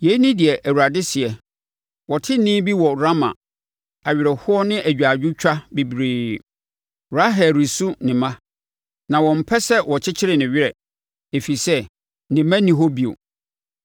Yei ne deɛ Awurade seɛ: “Wɔte nne bi wɔ Rama, awerɛhoɔ ne agyaadwotwa bebree, Rahel resu ne mma na ɔmpɛ sɛ wɔkyekyere ne werɛ, ɛfiri sɛ, ne mma nni hɔ bio.”